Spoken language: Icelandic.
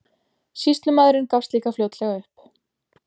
Sýslumaðurinn gafst líka fljótlega upp.